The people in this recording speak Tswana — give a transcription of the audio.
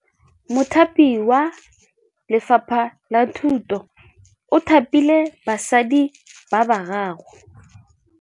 Mothapi wa Lefapha la Thutô o thapile basadi ba ba raro.